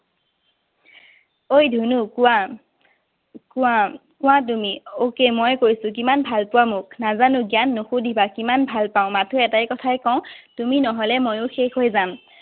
অই ধুনো। কোৱা। কোৱা। কোৱা তুমি। Okay ময়েই কৈছো। কিমান ভাল পোৱা মোক? নাজানো জান, নুসুধিবা কিমান ভাল পাওঁ। মাথো এটাই কথাই কওঁ। তুমি নহলে ময়ো শেষ হৈ যাম।